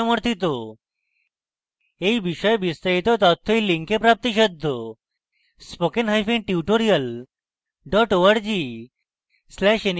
এই বিষয়ে বিস্তারিত তথ্য এই link প্রাপ্তিসাধ্য http:// spokentutorial org/nmeictintro